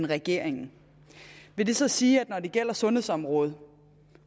regeringen vil det så sige at når det gælder sundhedsområdet